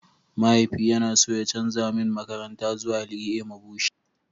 mahaifi yana so ya canza min makaranta zuwa LEA Mabushi